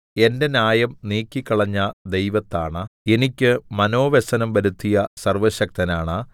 എന്റെ ന്യായം നീക്കിക്കളഞ്ഞ ദൈവത്താണ എനിക്ക് മനോവ്യസനം വരുത്തിയ സർവ്വശക്തനാണ